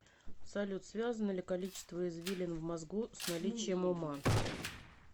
салют связано ли количество извилин в мозгу с наличием ума